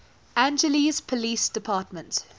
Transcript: angeles police department